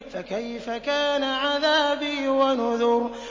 فَكَيْفَ كَانَ عَذَابِي وَنُذُرِ